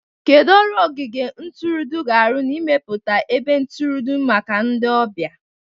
Kedu ọrụ ogige ntụrụndụ ga-arụ n'ịmepụta ebe ntụrụndụ maka ndị ọbịa?